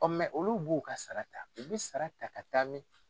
olu b'u ka sara ta u bɛ sara ta ka taa min?